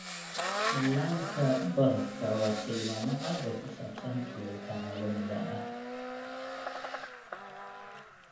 Dhallaanka barafka waa tilmaame cad oo ku saabsan kulaylka caalamiga ah.